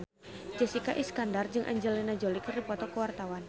Jessica Iskandar jeung Angelina Jolie keur dipoto ku wartawan